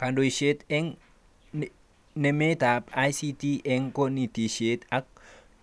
Kandoishet eng nametab ICT eng konetishet ak